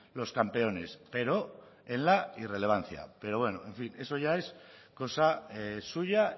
los campeones pero en la irrelevancia pero bueno en fin eso ya es cosa suya